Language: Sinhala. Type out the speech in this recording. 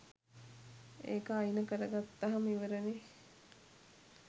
ඒක අයින කරගත්තහම ඉවරනේ.